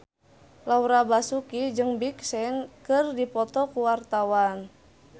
Laura Basuki jeung Big Sean keur dipoto ku wartawan